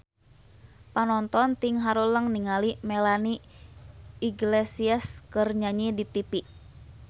Panonton ting haruleng ningali Melanie Iglesias keur nyanyi di tipi